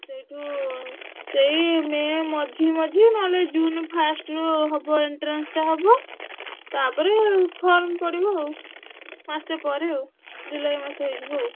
ସେଇଠୁ ସେଇ ମେ ମଝିମଝି ନହେଲେ ଜୁନ first ରୁ ହବ entrance ଟା ହବ ତାପରେ form ପଡିବ ଆଉ ମାସେ ପରେ ଆଉ ଜୁଲାଇ ମାସ ହେଇଯିବ ଆଉ।